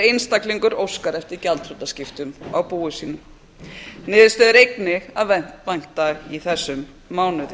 einstaklingur óskar eftir gjaldþrotaskiptum á búi sínu niðurstöðu er einnig að vænta í þessum mánuði